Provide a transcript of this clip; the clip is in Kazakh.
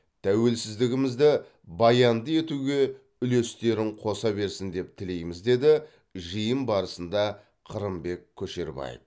тәуелсіздігімізді баянды етуге үлестерін қоса берсін деп тілейміз деді жиын барысында қырымбек көшербаев